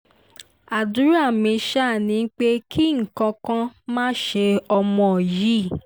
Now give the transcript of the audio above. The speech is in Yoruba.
àdúrà mi ṣáá ni pé kí nǹkan kan má ṣe ọmọ yìí